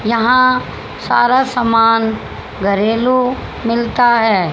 यहां सारा समान घरेलु मिलता है।